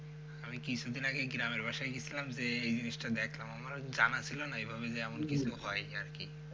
আমি কিছুদিন আগেই গ্রামের বাসায় গিয়েছিলাম যে এই জিনিসটা দেখলাম আমারও জানা ছিলোনা এভাবে যে এমন কিছু হয় আরকি।